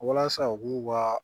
Walasa u k'u ka